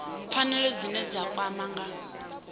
pfanelo dzine dza kwama nga